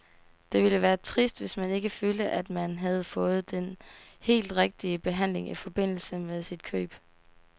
Det ville være trist, hvis man ikke følte, at man havde fået den helt rigtige behandling i forbindelse med sit køb.